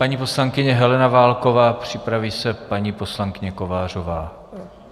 Paní poslankyně Helena Válková, připraví se paní poslankyně Kovářová.